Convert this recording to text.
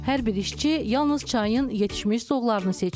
Hər bir işçi yalnız çayın yetişmiş zoğlarını seçir.